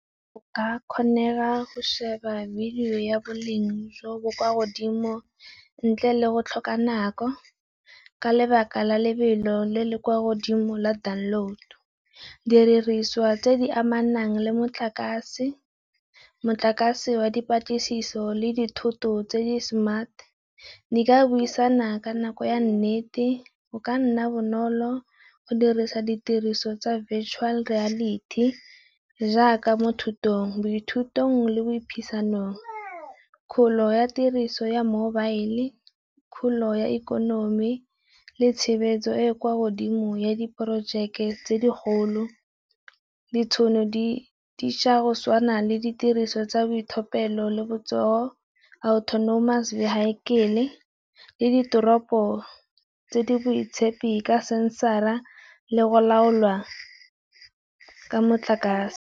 Go ka kgonega go sheba video ya boleng jo bo kwa godimo ntle le go tlhoka nako, ka lebaka la lebelo le le kwa godimo la download. Didiriswa tse di amanang le motlakase, motlakase wa dipatlisiso le dithoto tse di smart, di ka buisana ka nako ya nnete, go ka nna bonolo go dirisa ditiriso tsa Virtual Reality jaaka mo thutong, bo dithutong le boiphisanong. Kgolo ya tiriso ya mobile, kgolo ya ikonomi le tshebeletso e e kwa godimo ya di projeke tse di golo. Ditšhono di dišwa go tshawana le ditiriso tsa boitlhophelo le botsogo Autonomous Vehicle-e le ditoropo tse di boitshepi ka censor-a le go laolwa ka motlakase.